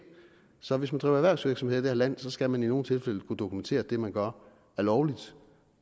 så hvis man driver erhvervsvirksomhed i det her land skal man i nogle tilfælde kunne dokumentere at det man gør er lovligt